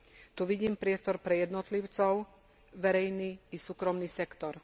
Tu vidím priestor pre jednotlivcov, verejný i súkromný sektor.